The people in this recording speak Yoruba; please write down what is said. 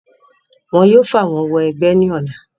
wọn yóò fàwọ́n wọ ẹgbẹ́ ní ọ̀la